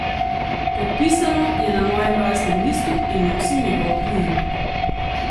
Podpisano je na mojem rojstnem listu in nosim njegov priimek.